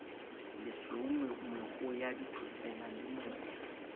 lesweu mehoo ya dithotsela lemoya